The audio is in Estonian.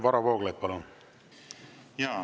Varro Vooglaid, palun!